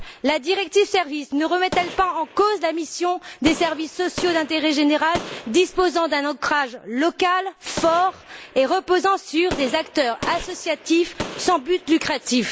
La directive services par exemple ne remet elle pas en cause la mission des services sociaux d'intérêt général disposant d'un ancrage local fort, reposant sur des acteurs associatifs sans but lucratif?